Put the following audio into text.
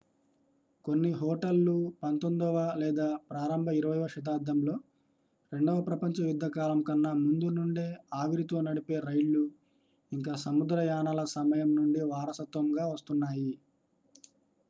కొన్ని హోటల్లు 19వ లేదా ప్రారంభ 20వ శతాబ్దంలో రెండవ ప్రపంచ యుద్ధ కాలం కన్నా ముందు నుండే ఆవిరితో నడిపే రైళ్లు ఇంకా సముద్ర యానాల సమయం నుండి వారసత్వంగా వస్తున్నాయి